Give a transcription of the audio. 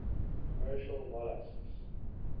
commercial molluscs